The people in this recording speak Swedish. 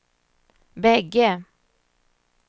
bägge